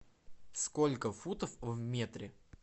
сколько футов в метре